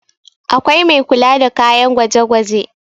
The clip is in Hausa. akwai Mai kula da kayan gwaje gwaje